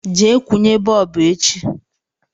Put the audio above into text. Je kwunye bọọbụ echi